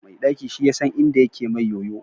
Mai ɗaki shi yasan inda yake mai yoyo